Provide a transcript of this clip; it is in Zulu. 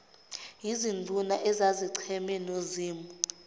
yizinduna ezazicheme nozimu